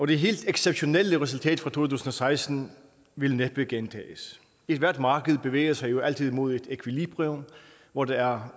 det helt exceptionelle resultat fra to tusind og seksten vil næppe gentages ethvert marked bevæger sig jo altid mod et ækvilibrium hvor der er